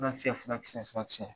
Fura kisɛ fura kisɛ fura kisɛ